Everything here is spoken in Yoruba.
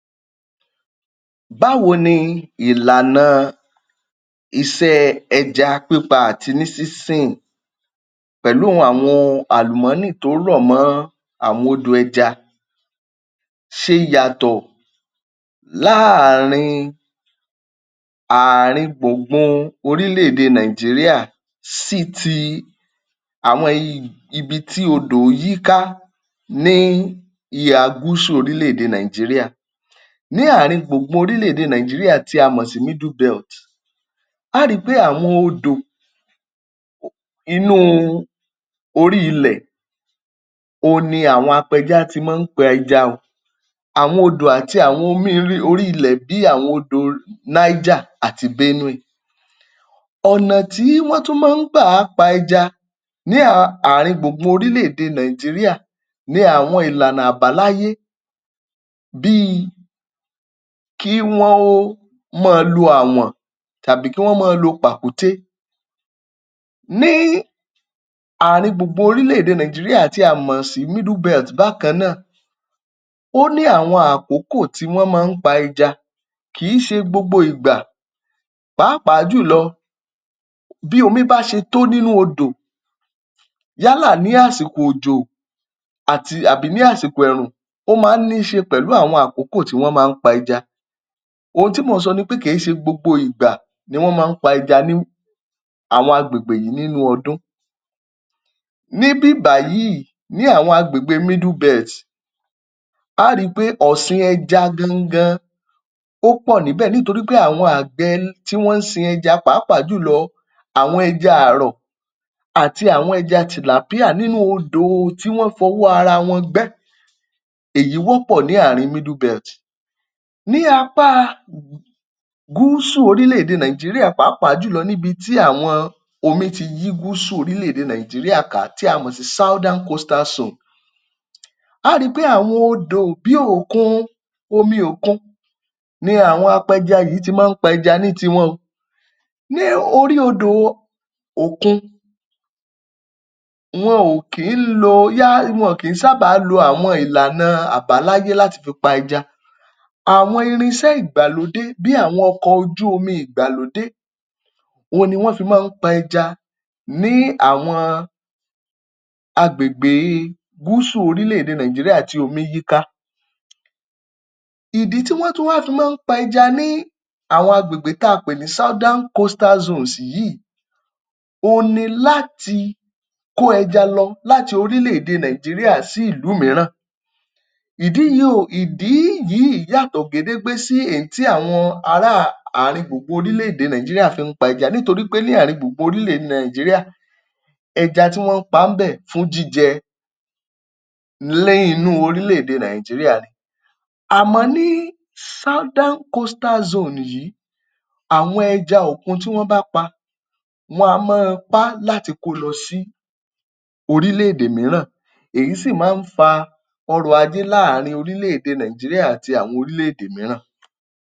Báwo ni ìlàna iṣẹ́ ẹja pípa àti ní sínsìn pẹ̀lú àwọn ohun àlùmọ́nì tó rọ̀ mọ́ àwọn odò ẹja ṣe yàtọ̀ láàrin ààrin gbùngbùn orílẹ̀-èdè Nàìjíríà sí ti àwọn ibi tí odò yíká ní ìhà gúsù orílẹ̀-èdè Nàìjíríà. Ní ààrin gbùngbùn orílẹ̀-èdè Nàìjíríà tí a mọ̀ sí Middle Belt, a ó ri pé àwọn odò inú orí ilẹ̀, òhun ni àwọn apẹja ti máa ń pa ẹja. Àwọn odò àti àwọn omi orí ilẹ̀ bíi àwọn odò Niger àti Benue. Ọ̀nà tí wọ́n máa tún ń máa ń gbà pa ẹja láàrin gbùngbùn orílẹ̀-èdè Nàìjíríà ni àwọn ìlànà àbáláyé bíi kí wọ́n máa lo àwọ̀n tàbí kí wọ́n máa lo pàkúté. Ní ààrin gbùngbùn orílẹ̀-èdè Nàìjíríà tí a mọ̀ sí Middle Belt bákan náà, ó ní àwọn àkókò tí wọ́n máa ń pa ẹja, kì í ṣe gbogbo ìgbà pàápàá jùlọ bí omi bá ṣe tó nínú odò yálà ní àsìkò òjó àti àbí ní àsìkò ẹ̀ẹ̀rùn, ó máa ń ní í ṣe pẹ̀lú àkókò tí wọ́n máa ń pa ẹja. Ohun tí mò ń sọ ni pé kì í ṣe gbogbo ìgbà ni wọ́n máa ń pa ẹja ní àwọn agbègbè yìí nínú ọdún. Níbí báyìí, ní àwọn agbègbè Middle Belt, a ó ri pé ọ̀sìn ẹja gan-an gan ó pọ̀ níbẹ̀ nítorí pé àwọn àgbẹ̀ tí wọ́n ń sin ẹja pàápàá jùlọ àwọn ẹja ààrọ̀, àti àwọn ẹja tilapia nínú odò tí wọ́n fọwọ́ ara wọn gbẹ́. Èyí wọ́pọ̀ ní ààrin Middle Belt. Ní apá Gúúsù orílẹ̀-èdè Nàìjíríà pàápàá jùlọ níbi tí àwọn omi ti yí gúúsù orílẹ̀-èdè Nàìjíríà ká tí a mọ̀ sí southern coastal zone. A ó ri pé àwọn odò bí òkun, omi òkun ni àwọn apẹja yìí ti máa ń pẹja ní tiwọn o. Ní orí odò òkun, wọn kì í lo, wọn kì í sábà lo àwọn ìlànà àbáláyé láti fi pa ẹja. Àwọn irinṣẹ́ ìgbàlódé bíi àwọn ọkọ ojú-omi ìgbàlódé òhun ni wọ́n fi máa ń pa ẹja ní àwọn agbègbè gúúsù orílẹ̀-èdè Nàìjíríà tí omi yíká. Ìdí tí wọ́n tún wá fi máa ń pẹja ní àwọn agbègbè tí a pè ní southern coastal zones yìí, òhun ni láti kó ẹja lọ láti orílẹ̀-èdè Nàìjíríà sí ìlú mìíràn. Ìdí yìí o, ìdí yìí yàtọ̀ gédéńgbé sí èyí tí àwọn ará ààrin gbùngbùn orílẹ̀-èdè Nàìjíríà fi ń pa ẹja nítorí pé ní ààrin gbùngbùn orílẹ̀-èdè Nàìjíríà, ẹja tí wọ́n ń pa ńbẹ̀ fún jíjẹ ní inú orílẹ̀-èdè Nàìjíríà. Àmọ́ ní southern coastal zone yìí, àwọn ẹja òkun tí wọ́n bá pa, wọn a máa pa á láti ko lọ sí orílẹ̀-èdè mìíràn. Èyí sì máa ń fa ọrọ̀-ajé láàrin orílẹ̀-èdè Nàìjíríà àti àwọn orílẹ̀-èdè mìíràn.